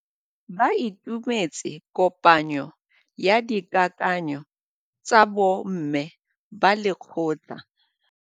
Ba itumeletse kôpanyo ya dikakanyô tsa bo mme ba lekgotla.